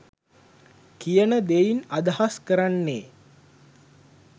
කියන දෙයින් අදහස් කරන්නේ.